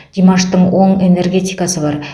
димаштың оң энергетикасы бар